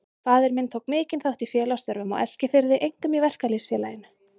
Faðir minn tók mikinn þátt í félagsstörfum á Eskifirði, einkum í Verkalýðs- félaginu.